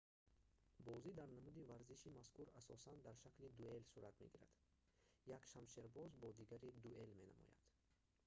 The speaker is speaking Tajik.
бозӣ дар намуди варзиши мазкур асосан дар шакли дуэл сурат мегирад як шамшербоз бо дигаре дуэл менамояд